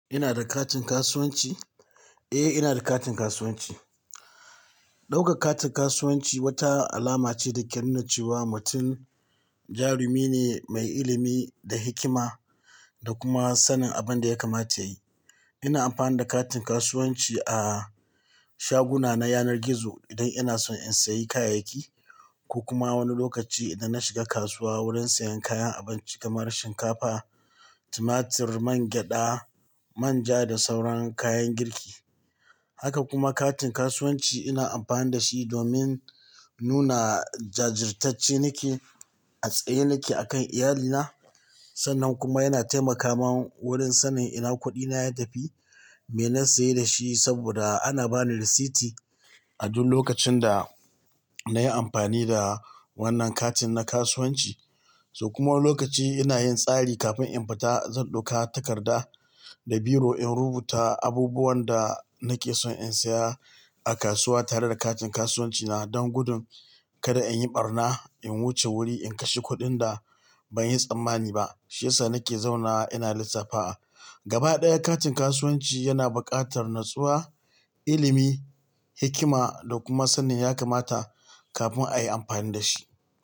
Ina da katin kasuwanci? Eh, ina da katin kasuwanci. Ɗauka katin kasuwanci wata alama ce da ke nuna cewa mutum jarumi ne mai ilimi da hikima da kuma sanin abin da ya kamata yayi. Ina amfani da katin kasuwanci a shaguna na yanar gizo idan ina son in sayi kayayyaki ko kuma wani lokaci idan na shiga kasuwa wurin siyan kayan abinci kamar shinkafa, tumatur, mangyaɗa, manja da sauran kayan girki. Haka kuma katin kasuwanci ina amfani da shi domin nuna jajirtacce nake a tsaye nake akan iyalina. Sannan kuma yana taimakawa wurin sanin ina kuɗina ya tafi, me na saye da shi saboda ana bani rasiti a duk lokacin da nayi amfani da wannan katin na kasuwanci. Toh kuma lokaci ina yin tsari kafin in fita, zan ɗauka takarda da biro in rubuta abubuwan da nake son in saya a kasuwa tare da katin kasuwancina don gudun kada in yi ɓarna, in wuce wuri in kashe kuɗin da ban yi tsammani ba. Shi yasa nake zauna ina lissafawa Gaba ɗaya katin kasuwanci yana buƙatar natsuwa, ilimi, hikima da kuma sanin ya kamata kafin a yi amfani da shi.